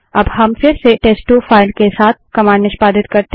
अब हम फिर से टेस्ट2 फाइल के साथ कमांड निष्पादित करते हैं